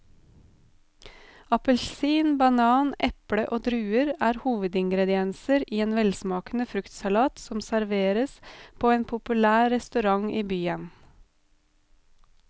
Appelsin, banan, eple og druer er hovedingredienser i en velsmakende fruktsalat som serveres på en populær restaurant i byen.